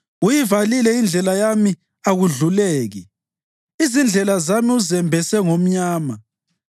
Uyivalile indlela yami akudluleki; izindlela zami uzembese ngomnyama.